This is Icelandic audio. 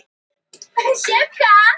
Mikill kurr vegna Kjarrs